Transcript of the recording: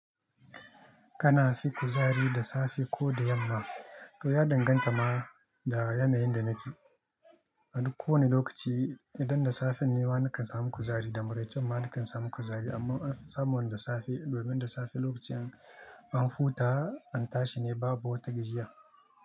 Kana fi kuzari da safe ko da yamma? To ya danganta ma da yanayin da nake. A duk kowane lokaci idan da safe ne ma nakan samu kuzari da maraice ma nakan samu kuzari amma anfisamu da safe domin da safe lokacin an huta an tashi ne babu wata gajiyar.